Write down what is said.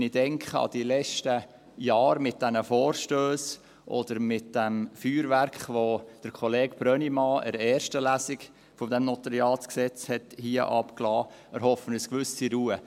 Wenn ich an die letzten Jahre mit diesen Vorstössen oder mit dem Feuerwerk denke, das Kollege Brönnimann während der ersten Lesung dieses NG hier losgelassen hat, erhoffe ich eine gewisse Ruhe.